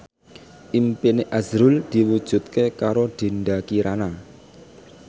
impine azrul diwujudke karo Dinda Kirana